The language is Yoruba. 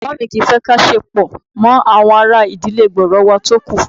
Bàbá mi kì í fẹ́ kí a ṣe pọ̀ pọ̀ mọ́ àwọn ará ìdílé gbòòrò wà tókù